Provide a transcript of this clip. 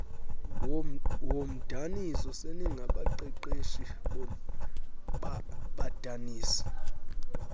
woomdaniso seningabaqeqeshi badanisi